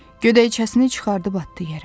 Gödəkcəsini çıxarıb atdı yerə.